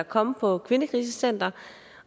kom på et kvindekrisecenter